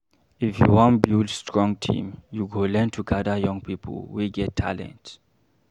If you wan build strong team, you go learn to gather young pipo wey get talent.